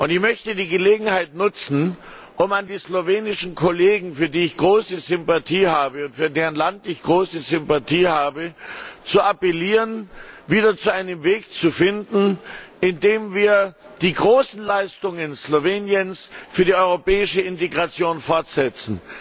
Ich möchte die Gelegenheit nutzen, um an die slowenischen Kollegen, für die und für deren Land ich große Sympathie habe, zu appellieren, wieder zu einem Weg zu finden, bei dem wir die großen Leistungen Sloweniens für die europäische Integration fortsetzen.